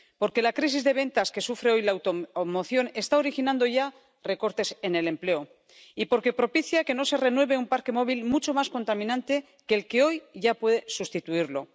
Porque la crisis de ventas que sufre hoy la automoción está originando ya recortes en el empleo. Y porque propicia que no se renueve un parque móvil mucho más contaminante que el que hoy ya puede sustituirlo.